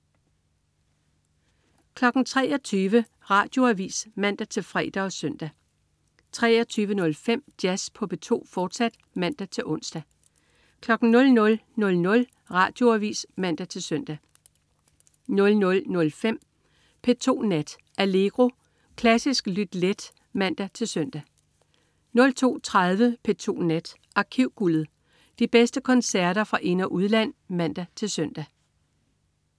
23.00 Radioavis (man-fre og søn) 23.05 Jazz på P2, fortsat (man-ons) 00.00 Radioavis (man-søn) 00.05 P2 Nat. Allegro. Klassisk lyt let (man-søn) 02.30 P2 Nat. Arkivguldet. De bedste koncerter fra ind- og udland (man-søn)